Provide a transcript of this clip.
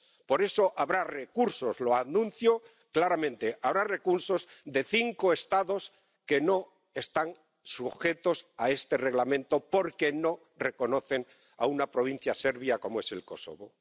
Por eso habrá recursos, lo anuncio claramente, habrá recursos de cinco Estados que no están sujetos a este Reglamento porque no reconocen a una provincia serbia como es Kosovo.